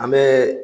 An bɛ